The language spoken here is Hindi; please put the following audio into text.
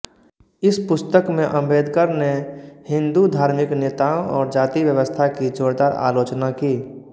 इस पुस्तक में आम्बेडकर ने हिंदू धार्मिक नेताओं और जाति व्यवस्था की जोरदार आलोचना की